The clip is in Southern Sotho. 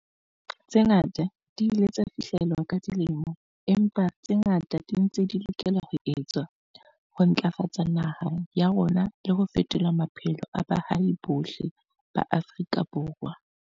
Tse ngata di ile tsa fihlellwa ka dilemo, empa tse ngata di ntse di lokela ho etswa ho ntlafatsa naha ya rona le ho fetola maphelo a baahi bohle ba Afrika Borwa.